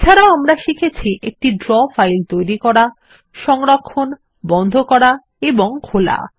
এছাড়াও আমরা শিখেছি একটি ড্র ফাইলকে তৈরি করা সংরক্ষণ বন্ধ করা এবং খোলা